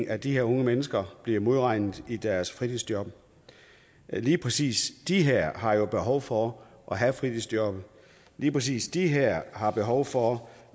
at de her unge mennesker bliver modregnet i deres fritidsjob lige præcis de her har jo behov for at have fritidsjobbet lige præcis de her har behov for